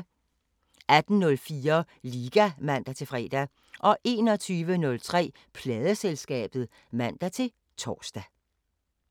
18:04: Liga (man-fre) 21:03: Pladeselskabet (man-tor)